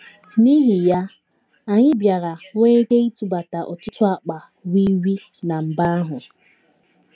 N’ihi ya, anyị bịara nwee ike ịtụbata ọtụtụ akpa wii wii ná mba ahụ.